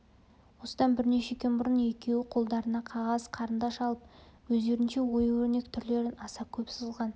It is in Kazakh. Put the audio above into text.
осыдан бірнеше күн бұрын екеуі қолдарына қағаз қарындаш алып өздерінше ою өрнек түрлерін аса көп сызған